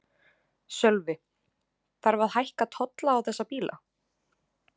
Sölvi: Þarf að hækka tolla á þessa bíla?